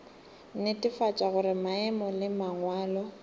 netefatša gore maemo le mangwalo